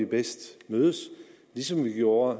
bedst mødes ligesom vi gjorde